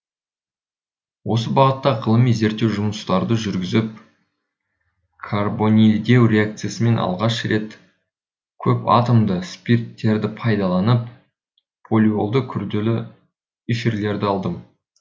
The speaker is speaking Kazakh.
осы бағытта ғылыми зерттеу жұмысымды жүргізіп карбонильдеу реакциясымен алғаш рет көпатомды спирттерді пайдаланып полиолды күрделі эфирлерді алдым